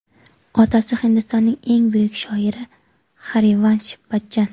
Otasi Hindistonning eng buyuk shoiri Xarivansh Bachchan.